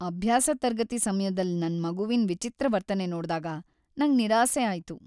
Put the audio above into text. ಅಭ್ಯಾಸ ತರ್ಗತಿ ಸಮ್ಯದಲ್ ನನ್ ಮಗುವಿನ್ ವಿಚಿತ್ರ ವರ್ತನೆ ನೋಡ್ದಾಗ ನಂಗ್ ನಿರಾಸೆ ಆಯ್ತು.